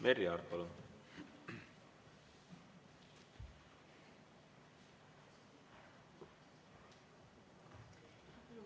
Merry Aart, palun!